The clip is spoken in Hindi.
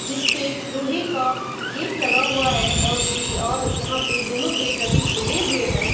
जिसपे लोहे का गेट लगा हुआ है और भी और यहाँ पे दोनों गेट अभी खुले हुए है।